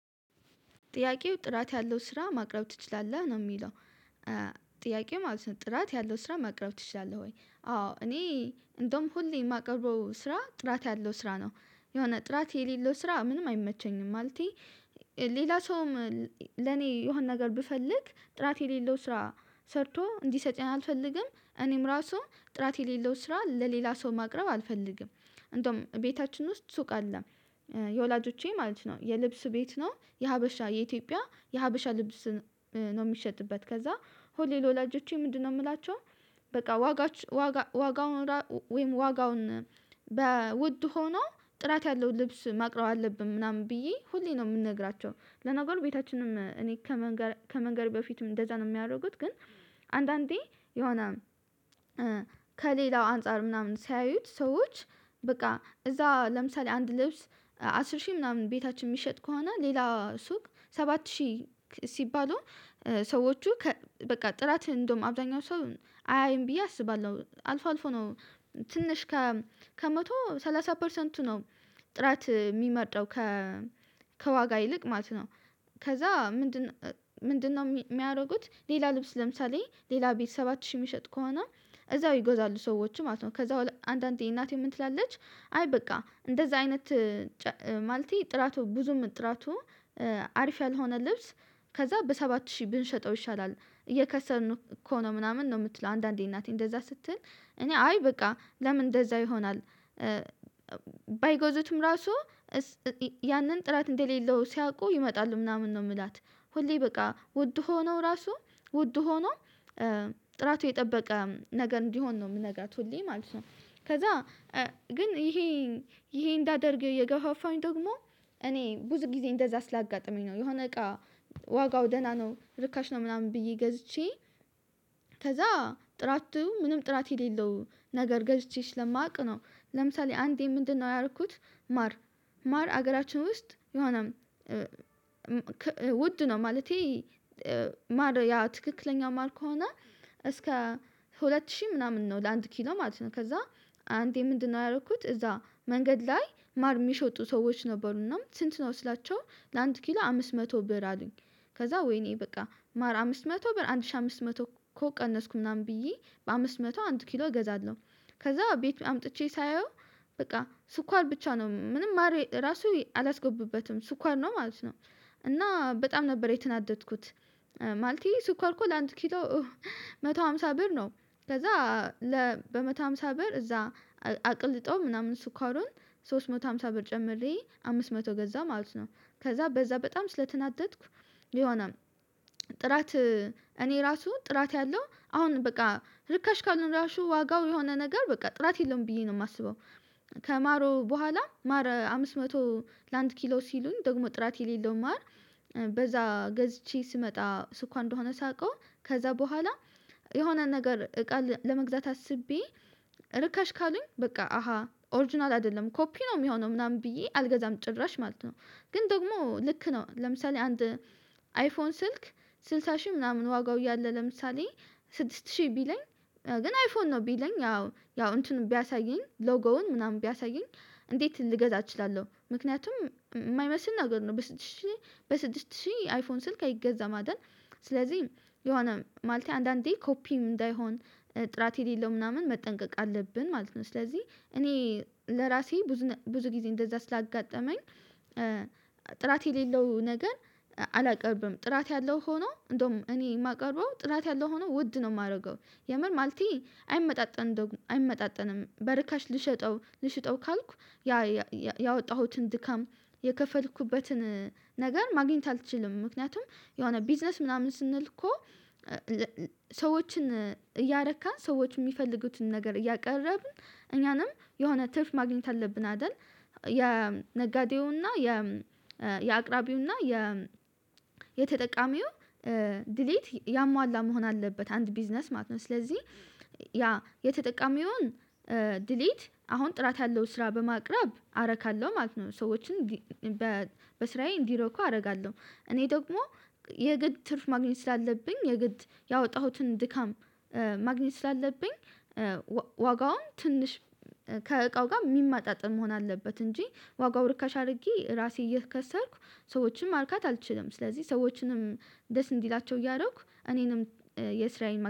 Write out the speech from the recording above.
ጥያቄው ጥራት ያለው ስራ ማቅረብ ትችላለህ ነው የሚለው። ጥያቄው ማለት ነው ጥራት ያለው ስራ ማቅረብ ትችላለህ ወይ? አዎ እኔ እንደውም ሁሌ የማቀርበው ስራ ጥራት ያለው ስራ ነው የሆነ ጥራት የሌለው ስራ ምንም አይመቸኝም ማለቴ። ሌላ ሰውም ለኔ የሆነ ነገር ብፈልግ ጥራት የሌለው ስራ ሰርቶ እንዲሰጠኝ አልፈልግም እኔም ራሱ ጥራት የሌለው ስራ ለሌላ ሰው ማቅረብ አልፈልግም። እንደውም ቤታችን ውስጥ ሱቅ አለ። የወላጆቼ ማለት ነው የልብስ ቤት ነው የሀበሻ የኢትዮጵያ የሀበሻ ልብስ ነው የሚሸጥበት ከዛ ሁሌ ለወላጆቼ ምንድነው የምላቸው? በቃ ዋጋቸ ዋጋ ዋጋውን ራወይም ዋጋውን በውድ ሆኖ ጥራት ያለው ልብስ ማቅረብ አለብን ምናምን ብዬ ሁሌ ነው የምነግራቸው። ለነገሩ ቤታችንም እኔ ከመንገር ከመንገሬ በፊትም እንደዛ ነው የሚያደርጉት። ግን አንዳንዴ የሆነ ከሌላው አንፃር ምናምን ሲያዩት ሰዎች በቃ እዛ ለምሳሌ አንድ ልብስ አስር ሺህ ምናምን ቤታችን የሚሸጥ ከሆነ ሌላ ሱቅ ሰባት ሺህ ክ ሲባሉ ሰዎቹ ከ በቃ ጥራት እንደውም አብዛኛው ሰው አያይም ብዬ አስባለሁ አልፎ አልፎ ነው ትንሽ ከመቶ ሰላሳ ፐርሰንቱ ነው ጥራት የሚመርጣው። ከዋጋ ይልቅ ማለት ነው። ከዛ ምንድነው ምንድነው? የሚያደርጉት ሌላ ልብስ ለምሳሌ ሌላ ቤት ሰባት ሺህ የሚሸጥ ከሆነ እዛው ይገዛሉ ሰዎች ማለት ነው። ከዛ ቦኃላ አንዳንዴ እናቴ ምን ትላለች? አይ በቃ እንደዛ አይነት ጨ ማለቴ ጥራቱ ብዙም ጥራቱ አሪፍ ያልሆነ ልብስ ከዛ በሰባት ሺህ ብንሸጠው ይሻላል እየከሰርን እኮ ነው ምናምን ነው የምትለው አንዳንዴ እናቴ እንደዛ ስትል እኔ አይ በቃ ለምን እንደዛ ይሆናል? ባይገዙትም ራሱ እስ እ ያንን ጥራት እንደሌለው ሲያውቁ ይመጣሉ ምናምን ነው የምላት ሁሌ በቃ ውድ ሆኖ ራሱ ውድ ሆኖ ጥራቱ የጠበቀ ነገር እንዲሆን ነው የምነግራት ሁሌ ማለት ነው። ከዛ ግን ይሄን ይሄን እንዳደርግ የገፋፋኝ ደግሞ እኔ ብዙ ጊዜ እንደዛ ስላጋጠመኝ ነው የሆነ እቃ ዋጋው ደህና ነው ርካሽ ነው ምናምን ብዬ ገዝቼ ከዛ ጥራቱ ምንም ጥራት የሌለው ነገር ገዝቼ ስለማውቅ ነው። ለምሳሌ አንዴ ምንድነው ያረኩት? ማር ማር ሀገራችን ውስጥ የሆነ ክ ውድ ነው ማለቴ ማር ያ ትክክለኛ ማር ከሆነ እስከ ሁለት ሺህ ምናምን ነው ለአንድ ኪሎ ማለት ነው። ከዛ አንዴ ምንድነው ያደረኩት እዛ መንገድ ላይ ማር የሚሸጡ ሰዎች ነበሩና ስንት ነው ስላቸው? ለአንድ ኪሎ አምስት መቶ ብር አሉኝ ከዛ ወይኔ በቃ ማር አምስት መቶ ብር አንድ ሺህ አምስት መቶ እኮ ቀነስኩ ምናምን ብዬ በአምስት መቶ አንድ ኪሎ እገዛለሁ። ከዛ ቤት አምጥቼ ሳየው በቃ ስኳር ብቻ ነው ምንም ማር ራሱ አላስገቡበትም ስኳር ነው ማለት ነው። እና በጣም ነበር የተናደድኩት። ማለቴ ስኳር እኮ ለአንድ ኪሎ መቶ ሃምሳ ብር ነው ከዛ ለ በመቶ ሃምሳ ብር እዛ አቅልጠው ምናምን ስኳሩን ሶስት መቶ ሃምሳ ብር ጨምሬ አምስት መቶ ገዛሁ ማለት ነው። ከዛ በዛ በጣም ስለተናደድኩ የሆነ ጥራት እኔ ራሱ ጥራት ያለው አሁን በቃ ርካሽ ከሆነ ራሱ ዋጋው የሆነ ነገር በቃ ጥራት የለውም ብዬ ነው የማስበው። ከማሩ በኋላ ማር አምስት መቶ ለአንድ ኪሎ ሲሉኝ ደግሞ ጥራት የሌለው ማር በዛ ገዝቼ ስመጣ ስኳር እንደሆነ ሳውቀው ከዛ በኋላ የሆነ ነገር እቃ ለመግዛት አስቤ ርካሽ ካሉኝ በቃ አሃ ኦሪጅናል አይደለም ኮፒ ነው የሚሆነው ምናምን ብዬ አልገዛም። ጭራሽ ማለት ነው። ግን ደግሞ ልክ ነው ለምሳሌ አንድ አይፎን ስልክ ስልሳ ሺህ ምናምን ዋጋው እያለ ለምሳሌ ስድስት ሺህ ቢለኝ ግን አይፎን ነው ቢለኝ ያው ያው እንትኑን ቢያሳየኝ ሎጎውን ምናምን ቢያሳየኝ እንዴት ልገዛ እችላለሁ? ምክንያቱም የማይመስል ነገር ነው በስድስት ሺህ በስድስት ሺህ አይፎን ስልክ አይገዛም አይደል? ስለዚህ የሆነ ማለቴ አንዳንዴ ኮፒ እንዳይሆን ጥራት የሌለው ምናምን መጠንቀቅ አለብን ማለት ነው። ስለዚህ እኔ ለራሴ ብዙ ነ ብዙ ጊዜ እንደዛ ስላጋጠመኝ ጥራት የሌለው ነገር አላቀርብም ጥራት ያለው ሆኖ እንደውም እኔ የማቀርበው ጥራት ያለው ሆኖ ውድ ነው የማደርገው የምር ማለቴ አይመጣጠንም እንደው አይመጣጠንም በርካሽ ልሸጠው ልሽጠው ካልኩ ያ ያወጣሁትን ድካም የከፈልኩበትን ነገር ማግኘት አልችልም። ምክንያቱም የሆነ ቢዝነስ ምናምን ስንል እኮ ሰዎችን እያረካን ሰዎች የሚፈልጉትን ነገር እያቀረብን እኛም የሆነ ትርፍ ማግኘት አለብን አይደል የነጋዴውን የአቅራቢውን እና የተጠቃሚውን ዲሎት ያሟላ መሆን አለበት አንድ ቢዝነስ ማለት ነው። ስለዚህ ያ የተጠቀሚውን ዲሎት አሁን ጥራት ያለውን ስራ በማቅረብ አረካለሁ ማለት ነው። ሰዎችን በ በስራዬ እንዲረኩ አደርጋለሁ እኔ ደግሞ የግድ ትርፍ ማግኘት ስላለብኝ የግድ ያወጣሁትን ድካም ማግኘት ስላለብኝ ዋ ዋጋውን ትንሽ ከእቃው ጋር የሚመጣጠን መሆን አለበት እንጂ ዋጋው ርካሽ አድርጌ ራሴ እየከሰርኩ ሰዎችን ማርካት አልችልም። ስለዚህ ሰዎችንም ደስ እንዲላቸው እያደረኩ እኔንም የስራዬን መ